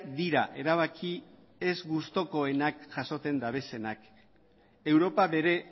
dira erabaki ez gustukoenak jasotzen dituztenak europa bere